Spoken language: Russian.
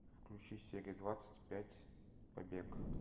включи серия двадцать пять побег